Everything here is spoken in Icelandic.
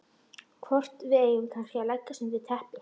Hvort við eigum kannski að leggjast undir teppi.